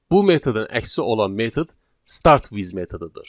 Bu metodun əksi olan metod start with metodudur.